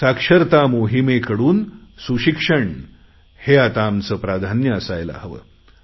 साक्षरता मोहिमेकडून दर्जेदार शिक्षण हे आता आमचे प्राधान्य असायला हवे